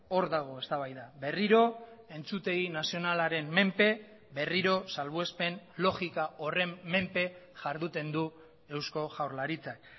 hor dago eztabaida berriro entzutegi nazionalaren menpe berriro salbuespen logika horren menpe jarduten du eusko jaurlaritzak